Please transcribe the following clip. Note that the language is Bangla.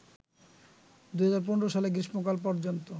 ২০১৫ সালের গ্রীষ্মকাল পর্যন্ত